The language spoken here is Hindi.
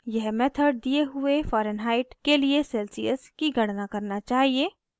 यह मेथड दिए हुए fahrenheit के लिए celsius की गणना करना चाहिए